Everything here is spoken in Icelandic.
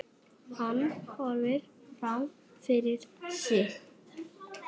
Hann horfir fram fyrir sig.